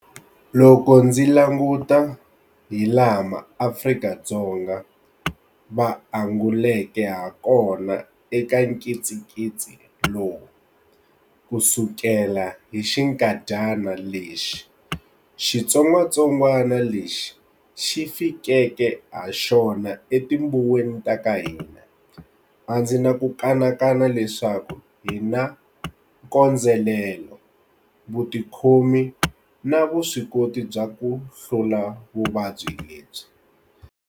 Loko ndzi languta hilaha maAfrika-Dzonga va anguleke hakona eka nkitsinkitsi lowu kusukela hi xikandyana lexi xitsongwatsongwana lexi xi fikeke haxona etibuweni ta ka hina, a ndzi na ku kanakana leswaku hi na nkondzelelo, vutikhomi na vuswikoti bya ku hlula vuvabyi lebyi.